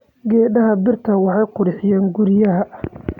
Geedaha beerta waxay qurxiyaan guryaha.